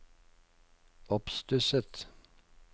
oppstusset